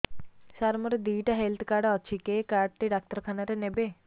ସାର ମୋର ଦିଇଟା health card ଅଛି କେ କାର୍ଡ ଟି ଡାକ୍ତରଖାନା ରେ ନେବେ